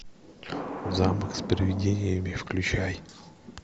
замок с привидениями включай